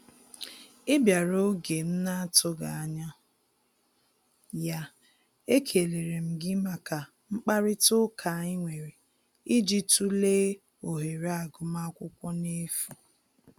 Ị bịara oge m na atụghị anya ya, ekelere m gị maka mkparịta ụka anyị nwere ịjị tụlee ohere agụm akwụkwọ n'efu